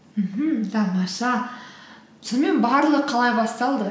мхм тамаша сонымен барлығы қалай басталды